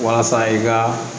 Walasa i ka